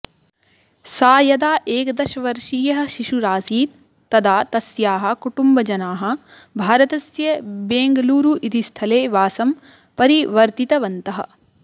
सा यदा एकादशवर्षीयः शिशुरासीत् तदा तस्याः कुटुम्बजनाः भारतस्य बेङ्गलूरु इति स्थले वासं परिवर्तितवन्तः